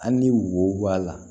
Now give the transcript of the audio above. An ni wo b'a la